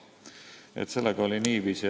Nii et sellega oli niiviisi.